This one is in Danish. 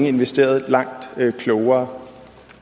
investeret langt klogere